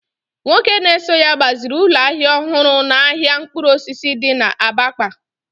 nwoke na-eso ya gbaziri ụlọ ahịa ọhụrụ n’ahịa mkpụrụ osisi di na Abakpa